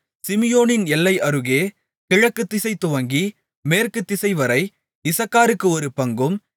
சிமியோனின் எல்லை அருகே கிழக்குதிசை துவக்கி மேற்கு திசைவரை இசக்காருக்கு ஒரு பங்கும்